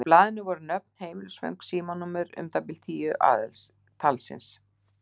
Á blaðinu voru nöfn, heimilisföng og símanúmer, um það bil tíu talsins.